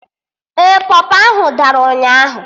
Ee, pọpọ ahụ dara ụnyaahụ